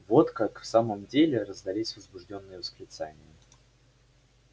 вот как в самом деле раздались возбуждённые восклицания